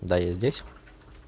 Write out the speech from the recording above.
да я здесь